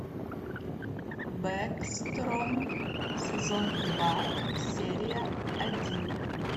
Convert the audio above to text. бэкстром сезон два серия один